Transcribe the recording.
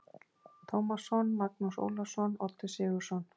Tómasson, Magnús Ólafsson, Oddur Sigurðsson